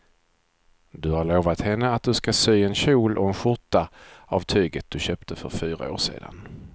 Du har lovat henne att du ska sy en kjol och skjorta av tyget du köpte för fyra år sedan.